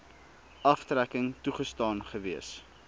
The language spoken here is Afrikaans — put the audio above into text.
aftrekking toegestaan gewees